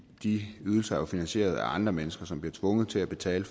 de ydelser er finansieret af andre mennesker som bliver tvunget til at betale